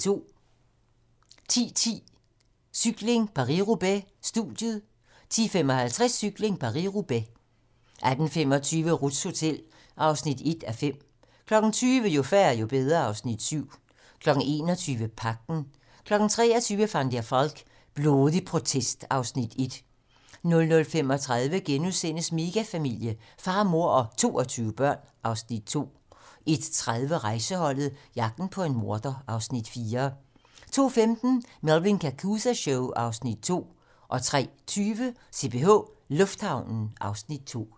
10:10: Cykling: Paris-Roubaix - studiet 10:55: Cykling: Paris-Roubaix 18:25: Ruths hotel (1:5) 20:00: Jo færre, jo bedre (Afs. 7) 21:00: Pagten 23:00: Van der Valk - blodig protest (Afs. 1) 00:35: Megafamilie - far, mor og 22 børn (Afs. 2)* 01:30: Rejseholdet - jagten på en morder (Afs. 4) 02:15: Melvin Kakooza Show (Afs. 2) 03:20: CPH Lufthavnen (Afs. 2)